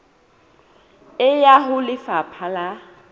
e ya ho lefapha la